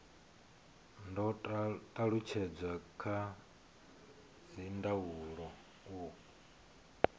do talutshedzwa kha dzindaulo u